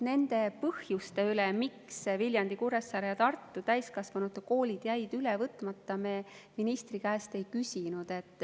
Nende põhjuste kohta, miks Viljandi, Kuressaare ja Tartu täiskasvanute koolid jäid üle võtmata, me ministri käest ei küsinud.